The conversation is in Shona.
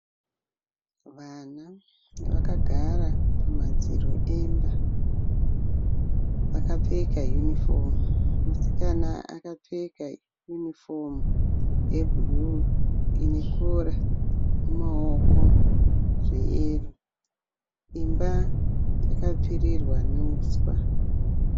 Mwana akagara pamadziro emba akapfeka yunifomu. Musikana akapfeka yunifomu yebhuruu ine Kora ne maoko zveyero imba yakapfirirwa neuswa